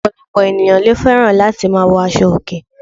Òpòlòpò ènìyãn lo féràn láti ma wo aso òkè